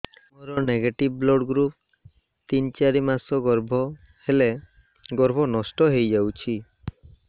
ମୋର negative blood group ତିନ ଚାରି ମାସ ଗର୍ଭ ହେଲେ ଗର୍ଭ ନଷ୍ଟ ହେଇଯାଉଛି